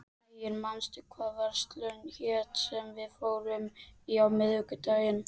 Ægir, manstu hvað verslunin hét sem við fórum í á miðvikudaginn?